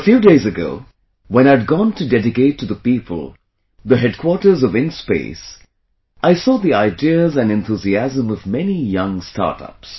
A few days ago when I had gone to dedicate to the people the headquarters of InSpace, I saw the ideas and enthusiasm of many young startups